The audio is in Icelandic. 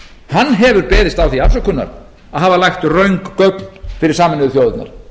hann hefur beðist á því afsökunar að hafa lagt röng gögn fyrir sameinuðu þjóðirnar